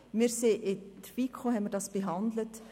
In der FiKo haben wir das behandelt.